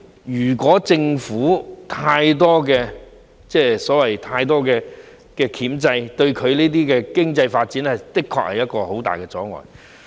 如果政府對跳蚤市場有太多箝制，這對地區經濟發展的確會造成很大的阻礙。